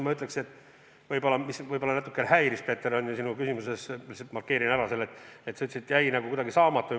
Ma ütlen ka seda, et mind natuke häiris, Peeter, sinu küsimuses see – ma markeerin selle ära –, et sa ütlesid, et jäi nagu miskit saamata.